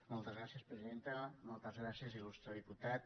moltes gràcies presidenta moltes gràcies il·lustre diputat